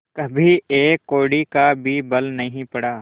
कभी एक कौड़ी का भी बल नहीं पड़ा